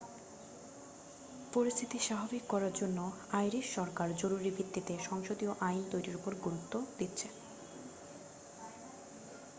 পরিস্থিতি স্বাভাবিক করার জন্য আইরিশ সরকার জরুরি ভিত্তিতে সংসদীয় আইন তৈরির উপর গুরুত্ব দিচ্ছে